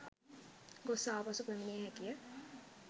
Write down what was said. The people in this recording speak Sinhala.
ගොස් ආපසු පැමිණිය හැකිය